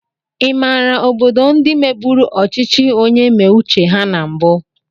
Ịmàrà obodo ndị mebụrụ ọchịchị onye mee uche ha na mbu?